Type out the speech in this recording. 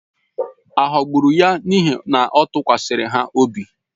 A ghọgburu ya n’ihi na ọ tụkwasịrị ha obi?